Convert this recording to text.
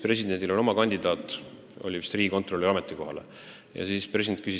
Presidendil oli oma kandidaat riigikontrolöri ametikohale – oli vist see ametikoht.